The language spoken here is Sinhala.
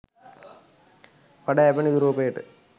වඩා යැපෙන යුරෝපයට